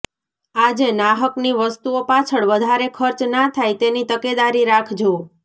આજે નાહકની વસ્તુઓ પાછળ વધારે ખર્ચ ના થાય તેની તકેદારી રાખજો